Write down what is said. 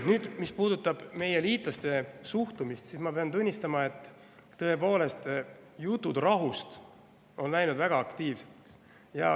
Nüüd, mis puudutab meie liitlaste suhtumist, siis ma pean tunnistama, et tõepoolest, jutud rahust on läinud väga aktiivseks.